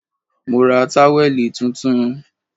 Mo ra táwẹ̀lì tuntun